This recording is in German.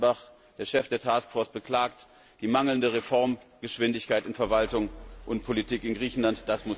Horst Reichenbach, der Chef der Taskforce, beklagt die mangelnde Reformgeschwindigkeit in Verwaltung und Politik in Griechenland.